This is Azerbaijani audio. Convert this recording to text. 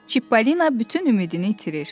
Çippolina bütün ümidini itirir.